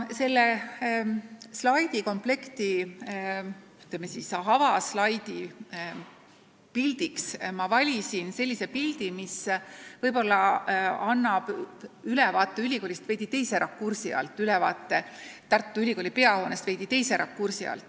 Selle slaidikomplekti avaslaidi pildiks ma valisin sellise pildi, millel on vaade ülikoolile veidi teise rakursi alt: see on vaade Tartu Ülikooli peahoonele ülalt alla.